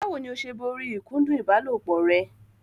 Báwo ni o ṣe borí ìkúndù ìbálòpọ̀ rẹ?